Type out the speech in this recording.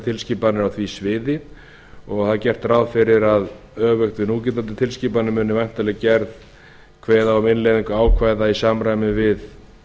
tilskipanir á því sviði og það er gert ráð fyrir að öfugt við núgildandi tilskipanir muni væntanlega kveða á um innleiðingu ákvæða í samræmi við